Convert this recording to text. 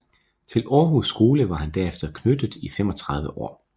Til Aarhus Skole var han derefter knyttet i 35 år